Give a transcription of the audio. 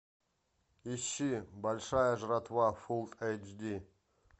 ищи большая жратва фулл эйч ди